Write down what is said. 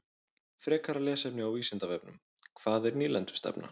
Frekara lesefni á Vísindavefnum: Hvað er nýlendustefna?